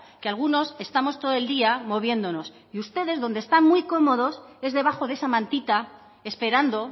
que algunos estamos todo el día moviéndonos y ustedes donde están muy cómodos es debajo de esa mantita esperando